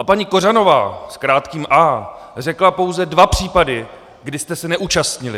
A paní Kořanová s krátkým a řekla pouze dva případy, kdy jste se neúčastnili.